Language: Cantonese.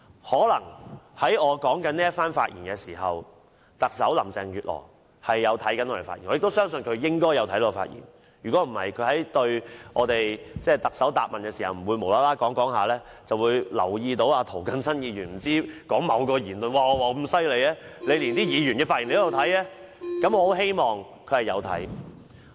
可能在我發表這番言論時，特首林鄭月娥正在收看我們的發言，我亦相信她應該有收看我們的發言，否則她不會在行政長官答問會時，忽然提起留意到涂謹申議員的某言論，令我覺得她很厲害，連議員的發言也有收看，我很希望她正在收看。